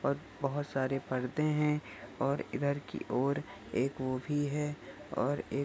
और बहोत सारे परदे है और इधर की ओर एक वो भी हैऔर एक---